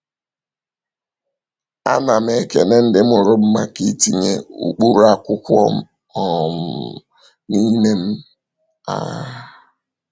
A na m ekele ndị mụrụ m maka itinye ụkpụrụ akwụkwọ um n’ime m. um